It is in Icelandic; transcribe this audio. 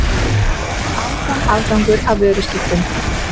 Áfram afgangur af vöruskiptum